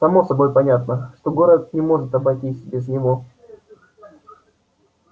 само собой понятно что город не может обойтись без него